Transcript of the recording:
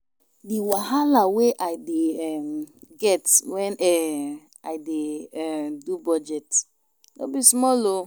Di wahala wey I dey um get wen um I dey um do budget no be small o.